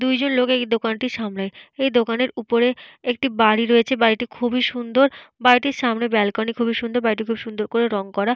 দুজন লোক এই দোকানটি সামলায়। এই দোকানের উপরে একটি বাড়ি রয়েছে। বাড়িটি খুবই সুন্দর । বাড়িটির সামনে বেলকনি খুবই সুন্দর। বাড়িটি খুব সুন্দর করে রং করা।